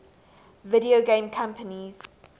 video game companies